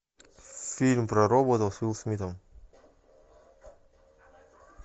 фильм про роботов с уилл смитом